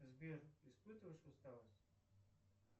сбер испытываешь усталость